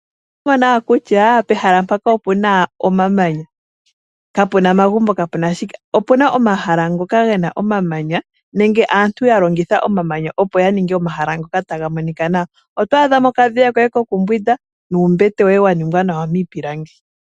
Otu wete nawa kutya pehala mpaka opuna owala omamanya kapuna omagumbo, kapuna omiti. Opuna omahala ngoka gena omamanya nenge aantu ya longitha omamanya opo ya ninge omahala ngoka taga monika nawa. Oto adha mo okadhiya koye ko kumbwinda nuumbete woye wa ningwa nawa miipilangi.